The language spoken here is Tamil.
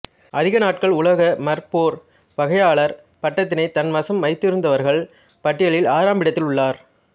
அதிக நாட்கள் உலக மற்போர் வாகையாளர் பட்டத்தினை தன் வசம் வைத்திருந்தவர்கள் பட்டியலில் ஆறாம் இடத்தில் உள்ளார்